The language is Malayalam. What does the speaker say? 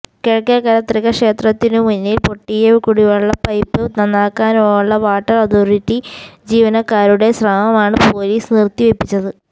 കിഴക്കേക്കര തൃക്ക ക്ഷേത്രത്തിനുമുന്നിൽ പൊട്ടിയ കുടിവെള്ള പൈപ്പ് നന്നാക്കാനുള്ള വാട്ടർ അതോറിറ്റി ജീവനക്കാരുടെ ശ്രമമാണ് പൊലീസ് നിർത്തിവെപ്പിച്ചത്